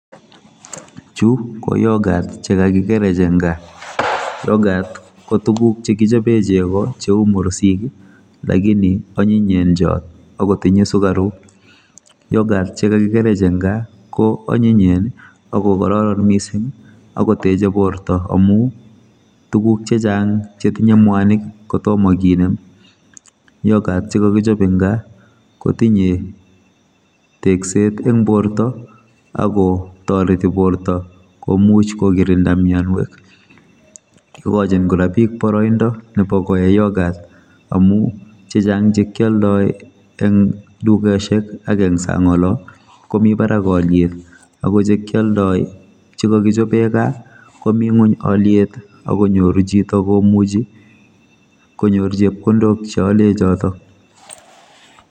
Chu ko yoghurt chekakikerech eng gaa. Yoghurt kotuguk chekichobe chego cheu mursik lakini anyinyenchot agotinye sukaruk yoghurt chekakikerech eng gaa koonyinyen akoanyiny mising akoteche borto amu tuguk chechang chetinye mwanik kotom kinem yoghurt chekakichop eng gaa kotinye tekset eng borto akotoreti borto komuch kokirinda mianwek igochin kora biik boroindo nebo koe yoghurt amu chechang chekioldoi eng dukesiek ak eng sang olo komi barak oliet akochekioldoi chekakichobe gaa komi ngony oliet akonyoru chito komuchi konyor chepkondok cheole chotok.